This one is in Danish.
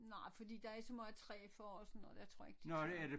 Nej fordi der er så meget træ for og sådan noget jeg tror ikke det tager